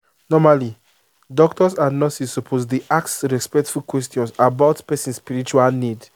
normally doctors and nurses suppose dey ask respectful questions about person spiritual need